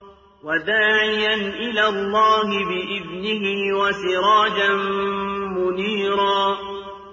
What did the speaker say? وَدَاعِيًا إِلَى اللَّهِ بِإِذْنِهِ وَسِرَاجًا مُّنِيرًا